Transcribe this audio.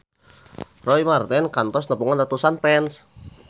Roy Marten kantos nepungan ratusan fans